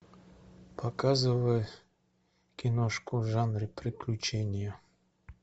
показывай киношку в жанре приключения